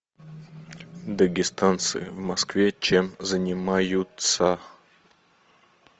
дагестанцы в москве чем занимаются